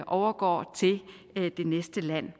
overgår til det næste land